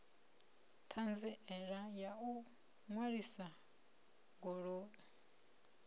ṱhanziela ya u ṅwalisa goloi